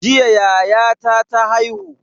Jiya yayata ta haihu.